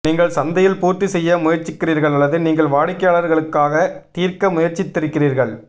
நீங்கள் சந்தையில் பூர்த்தி செய்ய முயற்சிக்கிறீர்கள் அல்லது நீங்கள் வாடிக்கையாளர்களுக்காக தீர்க்க முயற்சித்திருக்கிறீர்கள்